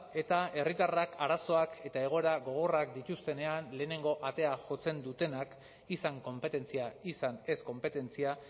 eta herritarrak arazoak eta egoera gogorrak dituztenean lehenengo atea jotzen dutenak izan konpetentzia izan ez konpetentzia